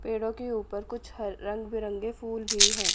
पेड़ों के ऊपर कुछ ह रंग बिरंगे फूल भी है।